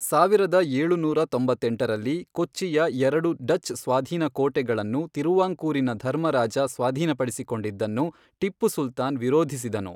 ಸಾವಿರದ ಏಳುನೂರ ತೊಂಬತ್ತೆಂಟರಲ್ಲಿ, ಕೊಚ್ಚಿಯ ಎರಡು ಡಚ್ ಸ್ವಾಧೀನ ಕೋಟೆಗಳನ್ನು ತಿರುವಾಂಕೂರಿನ ಧರ್ಮ ರಾಜ ಸ್ವಾಧೀನಪಡಿಸಿಕೊಂಡಿದ್ದನ್ನು ಟಿಪ್ಪು ಸುಲ್ತಾನ್ ವಿರೋಧಿಸಿದನು.